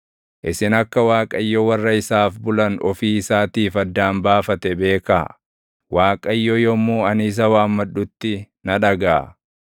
Isin akka Waaqayyo warra isaaf bulan ofii isaatiif addaan baafate beekaa; Waaqayyo yommuu ani isa waammadhutti na dhagaʼa.